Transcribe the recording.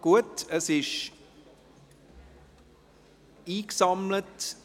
Die Kuverts sind eingesammelt.